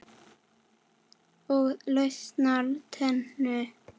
Og lausar tennur!